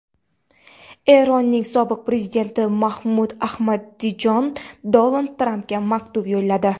Eronning sobiq prezidenti Mahmud Ahmadinajod Donald Trampga maktub yo‘lladi.